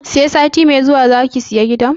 Sai sati mai zuwa zaka saya gidan?